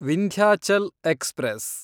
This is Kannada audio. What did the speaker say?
ವಿಂಧ್ಯಾಚಲ್ ಎಕ್ಸ್‌ಪ್ರೆಸ್